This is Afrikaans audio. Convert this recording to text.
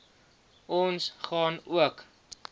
ons gaan ook